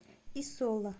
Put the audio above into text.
и соло